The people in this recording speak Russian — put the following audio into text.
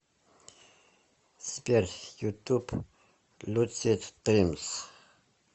сбер ютуб люсид дримс